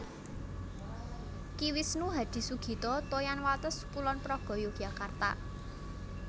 Ki Wisnu Hadisugito Toyan Wates Kulon Progo Yogyakarta